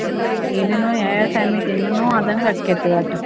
ಏನೆನೋ ಯಾವ್ಯಾವ time ಗ್ ಏನೇನೊ ಆದಂಗ್ ಆಕ್ಕೆತಿ ವಟ್ಟ್.